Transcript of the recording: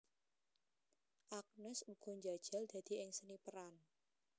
Agnes uga njajal dadi ing seni peran